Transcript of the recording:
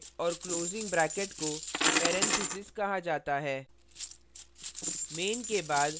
opening bracket और closing bracke को parenthesis कहा जाता है